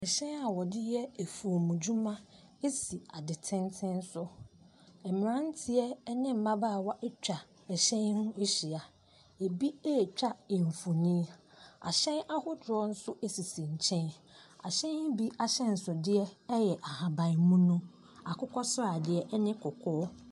Ɛhyɛn a wode yɛ afuo mu dwuma asi ade tenten so, mmranteɛ ɛne mmabawa ɛtwa ɛhyɛn yi ho ahyia, ɛbi ɛtwa mfonyin. Ahyɛn ahodoɔ nso sisi nkyɛn. Ahyɛn bi ahyensode ɛyɛ ahabanmunu, akokɔsrade, ɛne kɔkɔɔ.